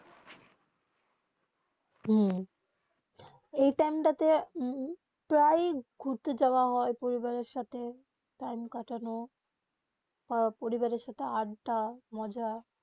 এই টাইম তা প্রায় ঘুরতে যাওবা হয়ে পরিবারে সাথে টাইম কাটানো পরিবারে সাথে আড্ডা মজা